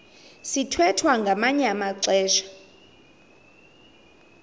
sithwethwa ngamanye amaxesha